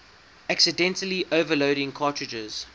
accidentally overloading cartridges